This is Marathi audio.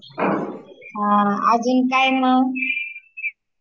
अजून काय म ?